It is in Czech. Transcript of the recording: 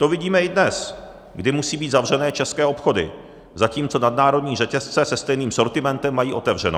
To vidíme i dnes, kdy musí být zavřené české obchody, zatímco nadnárodní řetězce se stejným sortimentem mají otevřeno.